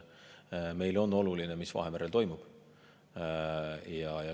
Meile on oluline, mis Vahemerel toimub.